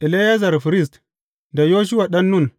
Eleyazar firist, da Yoshuwa ɗan Nun.